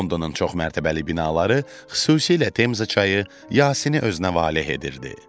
Londonun çoxmərtəbəli binaları, xüsusilə Temza çayı Yasini özünə valeh edirdi.